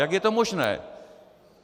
Jak je to možné?